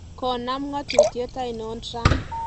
Konam ngatutiet ainon Trump?